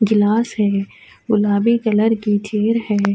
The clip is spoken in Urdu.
گلاس ہے گلابی کلر کی خیر ہے۔